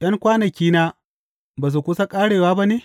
’Yan kwanakina ba su kusa ƙarewa ba ne?